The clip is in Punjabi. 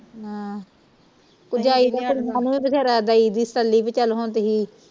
ਹੈ ਭਰਜਾਈ ਦੀਆ ਕੁੜੀਆਂ ਨੂੰ ਵੀ ਬਥੇਰਾ ਦਈ ਦੀ ਤਸੱਲੀ ਬਈ ਚਲ ਹੁਣ ਤੁਹੀ